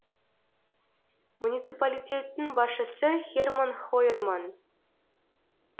муниципалитеттің басшысы херман хойерман